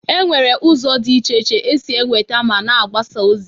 E nwere ụzọ dị iche iche esi e nweta ma na agbasa ozi.